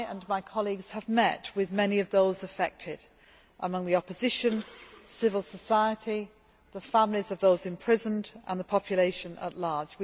My colleagues and I have met with many of those affected, among the opposition movement, civil society, the families of those imprisoned and the population at large.